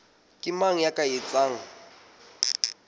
ke mang ya ka etsang